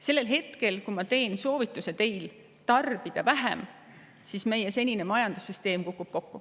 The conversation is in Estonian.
Sellel hetkel, kui ma teen teile soovituse tarbida vähem, kukub meie senine majandussüsteem kokku.